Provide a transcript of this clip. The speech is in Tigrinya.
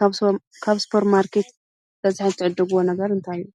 ካብቶም ካብ ስፖር ማርኬት ብበዝሒ ትዕዱጉ ነገር እንታይ እዩ?